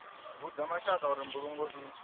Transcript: vhudza mashaka uri mbulungo i